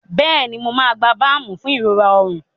Bẹẹni, Emi yoo gba baamu fun irora ọrun.